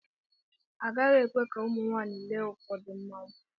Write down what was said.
Agaghị ekwe ka ụmụ nwaanyị lee ụfọdụ mmanwụ.